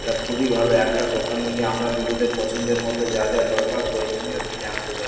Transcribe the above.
এটা খুবই ভালো একটা দোকানে গিয়ে আমরা নিজেদের পছন্দের মত যা যা দরকার প্রয়োজনীয় কিনে আনতে পার--